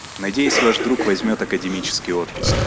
надеюсь ваш друг возьмёт академический отпуск